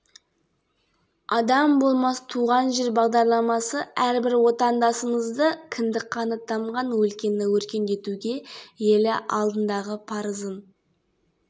жалпы жылға дейін облыста жоба іске асырылмақ көкшетаудағы басқосуда алға қойылған мақсаттарға жету жолдары талқыланды сондай-ақ оқушылар мен жастарға дұрыс тәрбие